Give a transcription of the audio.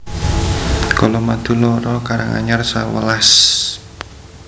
Colomadu loro Karanganyar sewelas